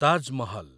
Taj Mahal